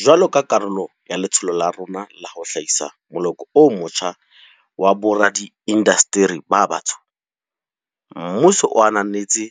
Jwalo ka karolo ya letsholo la rona la ho hlahisa moloko o motjha wa boradiindasteri ba batsho, mmuso o ananetse